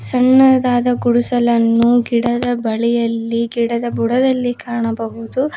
ಸಣ್ಣದಾದ ಗುಡಿಸಲನ್ನು ಗಿಡದ ಬಳಿಯಲ್ಲಿ ಗಿಡದ ಬುಡದಲ್ಲಿ ಕಾಣಬಹುದು.